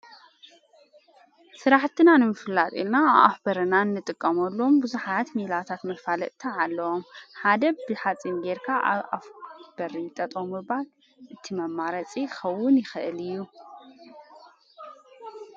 ሥራሕትና ንም ፍላጥኢልና ኣፍ በርናን ንጥቀመሎም ብዙኃያት ሚላታት መፋልጥ ተዓለዎም ሓደብ ብሓጺም ጌርካ ኣብ ኣፍበርይ ጠጦምባል እቲመማረጺ ኸውን ይኽእል እዩ።